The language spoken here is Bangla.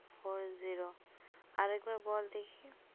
Four zero আর একবার বল দেখি।